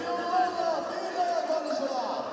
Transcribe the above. Ceyhun Dadaşov, Digəşi oğlu!